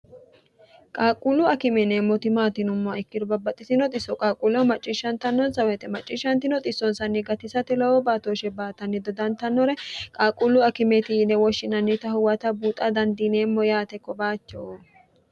qaaqquullu akime yineemmoti maati yinummoha ikkiro babbaxxitino xisso qaaqquulleho macciishshantannonsa woy macciishshantino xissonsanni gatisate lowo baatooshe baatanni dodantannore qaaqquullu akimeti yine woshshinannita huwata buuxa dandiineemmo yaate kobaacho